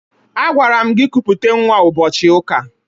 Agwara m gị kuputa nwa ụbọchị ụka!